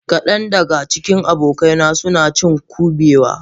Kadan daga cikin abokaina suna cin Kubewa